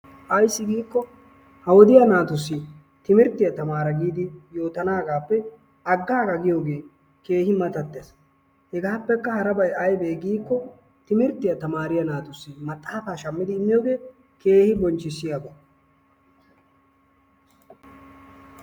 Ayssi giikko ha wodiya naatussi timirttiya tamaara giidi yootanaagaappe aggaa giyogee keehi matattees. Hegaappekka harabay aybee giyaba gidikko timirttya tamaariya naatussi maxaafa shammi immiyogee keehi bonchchissiyaba.